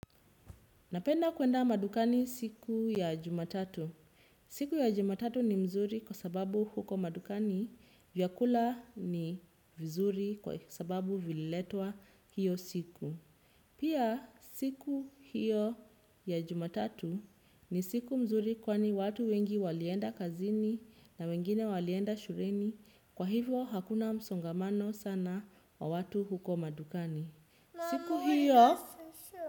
Napenda kuenda madukani siku ya jumatatu. Siku ya jumatatu ni mzuri kwa sababu huko madukani. Vyakula ni vizuri kwa sababu vililetwa hiyo siku. Pia siku hiyo ya jumatatu ni siku mzuri kwani watu wengi walienda kazini na wengine walienda shuleni. Kwa hivo hakuna msongamano sana wa watu huko madukani. Siku hiyo.